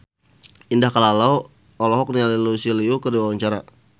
Indah Kalalo olohok ningali Lucy Liu keur diwawancara